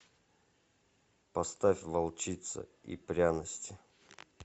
поставь волчица и пряности